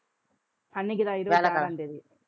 அன்னைக்குதான், இருபத்தி ஆறாம் தேதி